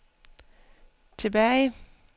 tilbage